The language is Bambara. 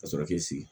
Ka sɔrɔ k'i sigi